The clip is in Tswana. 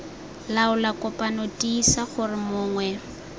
laola kopano tiisa gore mongwe